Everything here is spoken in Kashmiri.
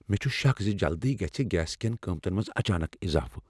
مےٚ چھ شک ز جلدی گژھِہ گیس کین قیمتن منز اچانک اضافہٕ ۔